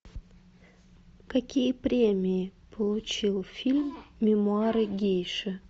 какие премии получил фильм мемуары гейши